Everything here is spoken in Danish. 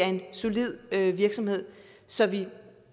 en solid virksomhed som vi